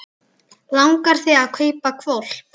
Langar þig að kaupa hvolp?